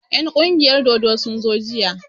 En ƙungiyar dodo sun zo jiya